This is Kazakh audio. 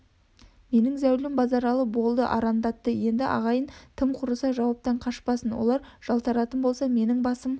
менің зәулім базаралы болды арандатты енді ағайын тым құрыса жауаптан қашпасын олар жалтаратын болса менің ба-сым